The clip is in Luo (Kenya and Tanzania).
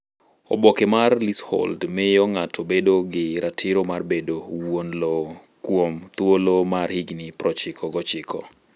Oboke mar leasehold miyo ng’ato bedo gi ratiro mar bedo wuon lowo kuom thuolo mar higni 99.